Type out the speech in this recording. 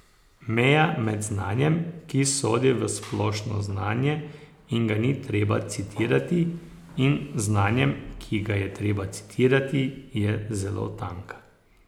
Meja med znanjem, ki sodi v splošno znanje in ga ni treba citirati, in znanjem, ki ga je treba citirati, je zelo tanka.